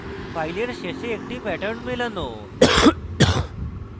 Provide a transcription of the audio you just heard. file শেষে একটি pattern মেলানো